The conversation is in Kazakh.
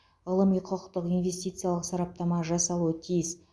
ғылыми құқықтық инвестициялық сараптама жасалуы тиіс